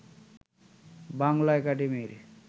বাংলা একাডেমির